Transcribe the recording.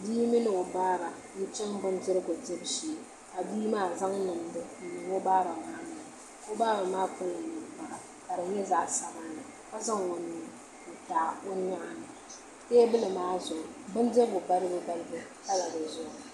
bia mini o baaba n-chaŋ bindirigu dibu shee ka bia maa zaŋ nimdi n-niŋ o baaba maa noli ni o baab a kpala ninkpara ka di nye zaɣ' sabinli ka zaŋ o nuu ntaɣi o nyɔɣu ni teebuli maa Pala di zuɣu